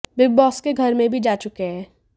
big Boss के घर में भी जा चुके हैं